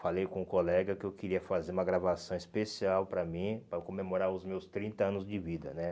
Falei com um colega que eu queria fazer uma gravação especial para mim, para comemorar os meus trinta anos de vida, né?